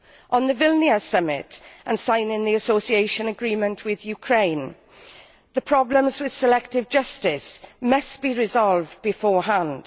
On the Vilnius Summit and signing the association agreement with Ukraine, the problems with selective justice must be resolved beforehand.